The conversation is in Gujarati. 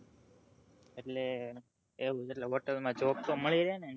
એટલે એવું મતલબ hotal માં job મળી રેને